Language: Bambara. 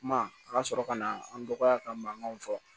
Kuma a ka sɔrɔ ka na an dɔgɔya ka mankanw fɔ